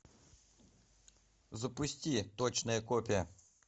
запусти точная копия